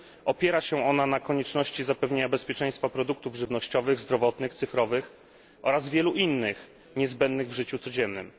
Opiera się ona na konieczności zapewnienia bezpieczeństwa produktów żywnościowych, zdrowotnych, cyfrowych oraz wielu innych, niezbędnych w życiu codziennym.